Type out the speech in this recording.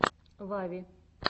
вави